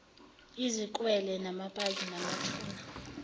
izikwele amapaki namathuna